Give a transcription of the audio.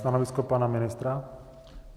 Stanovisko pana ministra?